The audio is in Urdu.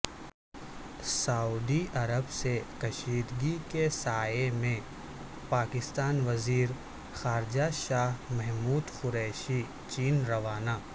سعودی عرب سے کشیدگی کے سائے میں پاکستانی وزیر خارجہ شاہ محمود قریشی چین روانہ